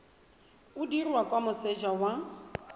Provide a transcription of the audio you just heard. o dirwa kwa moseja wa